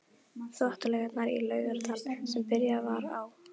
Þvottalaugarnar í Laugardal sem byrjað var á